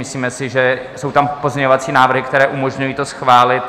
Myslíme si, že jsou tam pozměňovací návrhy, které umožňují to schválit.